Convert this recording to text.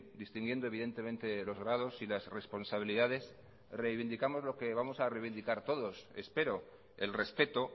distinguiendo evidentemente los grados y las responsabilidades reivindicamos lo que vamos a reivindicar todos espero el respeto